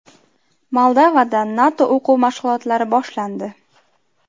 Moldovada NATO o‘quv mashg‘ulotlari boshlandi.